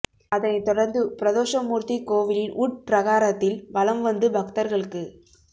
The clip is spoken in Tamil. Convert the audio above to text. அதனைத் தொடர்ந்து பிரதோஷ மூர்த்தி கோவிலின் உட்பிரகாரத்தில் வலம் வந்து பக்தர்களுக்கு